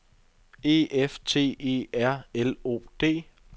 E F T E R L O D